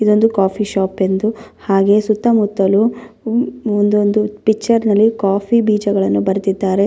ದಾರೆ ಮತ್ತು ಇಲ್ಲಿ ದೊಡ್ಡ ದೊಡ್ಡ ಫೋಟೋ ಫ್ರೇಮ್ಸ್ ಕಾಣಿಸಲು ಬರುತ್ತಿದೆ ಮತ್ತು ಈ ಹೋಟೆಲ್ --